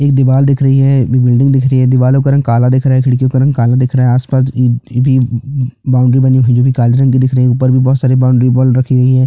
एक दीवाल दिख रही है बिल्डिंग दिख रही है दीवालों का रंग काला दिख रहा है खिड़कियों का रंग काला दिख रहा है आसपास भी बाउंड्री बनी हुई है जो भी काले रंग की दिख रही है उपर भी बहोत सारे बाउंड्री बॉल रखी गयी है।